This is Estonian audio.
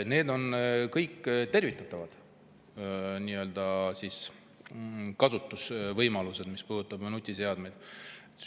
Need on kõik tervitatavad kasutusvõimalused, mis puudutab nutiseadmeid.